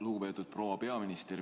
Lugupeetud proua peaminister!